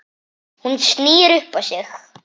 Hún snýr upp á sig.